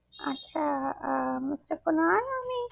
আচ্ছা আহ Mister kunal আমি